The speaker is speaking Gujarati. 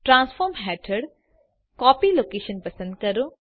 ટ્રાન્સફોર્મ હેઠળ કોપી લોકેશન પસંદ કરો